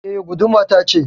E, guduma tace